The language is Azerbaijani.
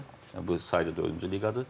Bu sayda dördüncü liqadır.